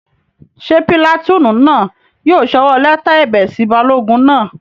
Ṣé pìlàtúùnù náà yóò sọwọ́ lẹ́tà ẹ̀bẹ̀ sí balógun náà?